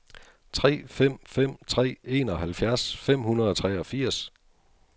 tre fem fem tre enoghalvfjerds fem hundrede og treogfirs